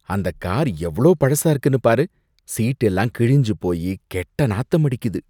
அந்த கார் எவ்ளோ பழசா இருக்குன்னு பாரு. சீட் எல்லாம் கிழிஞ்சு போயி கெட்ட நாத்தம் அடிக்குது.